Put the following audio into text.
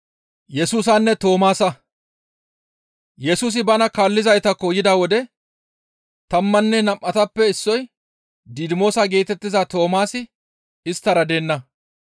Yesusi bana kaallizaytakko yida wode tammanne nam7atappe issoy Didimoosa geetettiza Toomaasi isttara deenna.